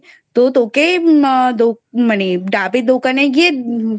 তো তোকেই মানে আহ ডাবের দোকানে গিয়ে